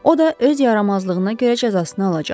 O da öz yaramazlığına görə cəzasını alacaq.